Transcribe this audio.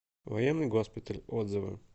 военный госпиталь отзывы